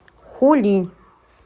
хулинь